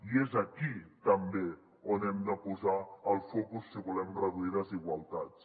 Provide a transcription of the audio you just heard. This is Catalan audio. i és aquí també on hem de posar el focus si volem reduir desigualtats